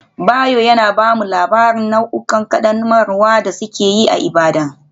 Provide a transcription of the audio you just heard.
Bayo yana ba mu labarin nau'ikan ƙaddamarwa da suke yi a Ibadan.